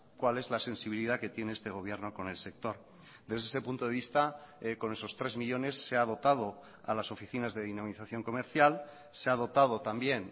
cuál es la sensibilidad que tiene este gobierno con el sector desde ese punto de vista con esos tres millónes se ha dotado a las oficinas de dinamización comercial se ha dotado también